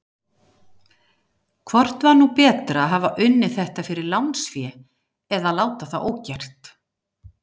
Hvort var nú betra að hafa unnið þetta fyrir lánsfé eða láta það ógert?